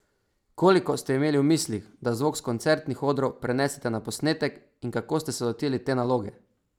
Koliko ste imeli v mislih, da zvok s koncertnih odrov prenesete na posnetek in kako ste se lotili te naloge?